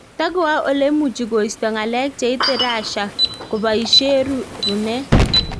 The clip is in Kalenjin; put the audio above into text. Tagoae ole imuchi koisto ngalek cheite Russia kobaishee Runet